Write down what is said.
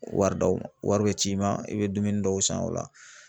Wari d'aw ma, wari bi ci i ma i bɛ dumuni dɔw san o la